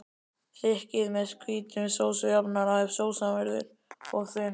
Þykkið með hvítum sósujafnara ef sósan verður of þunn.